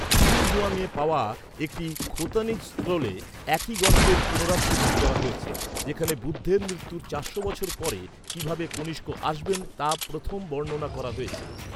দুনহুয়াংয়ে পাওয়া একটি খোতানিজ স্ক্রোলে একই গল্পের পুনরাবৃত্তি করা হয়েছে, যেখানে বুদ্ধের মৃত্যুর চারশো বছর পরে কীভাবে কনিষ্ক আসবেন তা প্রথম বর্ণনা করা হয়েছে।